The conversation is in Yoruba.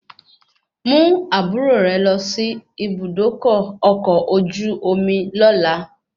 Mú àbúrò rẹ lọ sí Ibùdókọ̀ ọkọ̀ ojú lóla